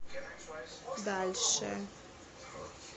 дальше